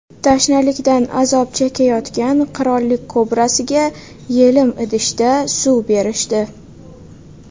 Tashnalikdan azob chekayotgan qirollik kobrasiga yelim idishda suv berishdi .